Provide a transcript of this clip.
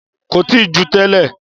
Kò tijú tẹ́lẹ̀